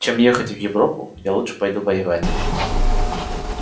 чем ехать в европу я лучше пойду воевать